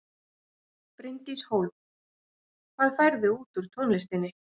Bryndís Hólm: Hvað færðu út úr tónlistinni?